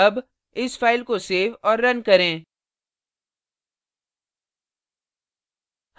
अब इस file को सेव और now करें